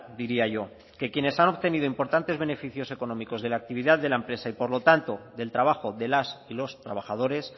diría yo que quienes han obtenido importantes beneficios económicos de la actividad de la empresa y por lo tanto del trabajo de las y los trabajadores